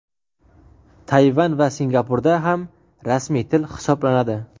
Tayvan va Singapurda ham rasmiy til hisoblanadi.